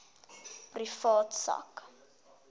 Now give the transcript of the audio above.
privaat sak